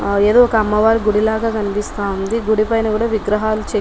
ఏదో ఒక అమ్మవారి గుడి లా కనిపిస్తా ఉంది గుడి పైన కూడా విగ్రహాలు చెక్కి.